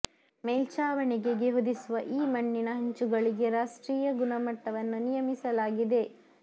ಮೇಲ್ಛಾವಣೆಗೆಗೆ ಹೊದಿಸುವ ಈ ಮಣ್ಣಿನ ಹಂಚುಗಳಿಗೆ ರಾಷ್ಟ್ರೀಯ ಗುಣ ಮಟ್ಟವನ್ನು ನಿಯಮಿಸಲಾಗಿದೆ